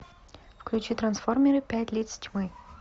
включи трансформеры пять лиц тьмы